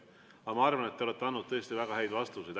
Aga ma arvan, et te olete andnud tõesti väga häid vastuseid.